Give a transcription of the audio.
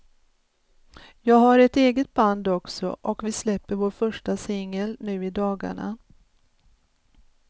Jag har ett eget band också och vi släpper vår första singel nu i dagarna.